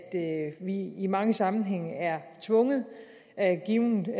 vi i mange sammenhænge er tvunget af givne